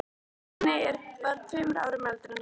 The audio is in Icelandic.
Nonni var tveimur árum eldri en hann.